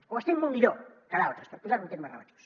o estem molt millor que d’altres per posar ho en termes relatius